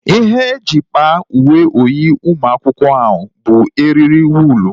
Ihe e ji kpaa uwe oyi ụmụ akwụkwọ ahụ bụ eriri wụlu